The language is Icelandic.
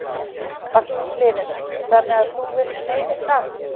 Magnús Hlynur: Þannig að þú villt meiri sand?